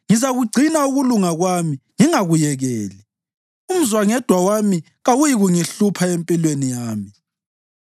Ngizakugcina ukulunga kwami ngingakuyekeli; umzwangedwa wami kawuyikungihlupha empilweni yami.